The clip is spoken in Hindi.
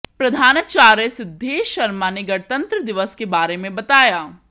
प्रधानाचार्य सिद्धेश शर्मा ने गणतंत्र दिवस के बारे में बताया